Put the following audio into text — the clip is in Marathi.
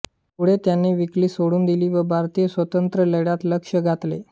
पुढे त्यांनी वकिली सोडून दिली व भारतीय स्वातंत्र्यलढ्यात लक्ष घातले